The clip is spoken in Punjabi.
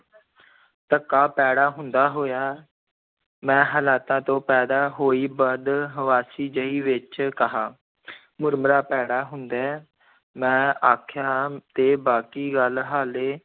ਤੱਕਾ ਭੈੜਾ ਹੁੰਦਾ ਹੋਇਆ, ਮੈਂ ਹਾਲਾਤਾਂ ਤੋਂ ਪੈਦਾ ਹੋਈ ਬਦਹਵਾਸੀ ਜਿਹੀ ਵਿੱਚ ਕਿਹਾ ਮੁਰਮੁਰਾ ਭੈੜਾ ਹੁੰਦਾ ਹੈ ਮੈਂ ਆਖਿਆ ਤੇ ਬਾਕੀ ਗੱਲ ਹਾਲੇ,